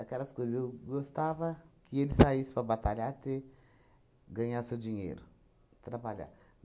coisas, eu gostava que ele saísse para batalhar, ter, ganhar seu dinheiro, trabalhar.